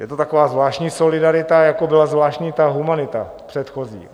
Je to taková zvláštní solidarita, jako byla zvláštní ta humanita předchozí.